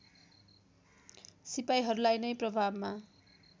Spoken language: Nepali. सिपाहीहरूलाई नै प्रभावमा